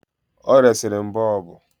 Ọ resiri m boobu